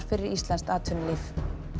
fyrir íslenskt atvinnulíf